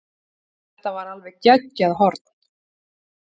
Þetta var alveg geggjað horn.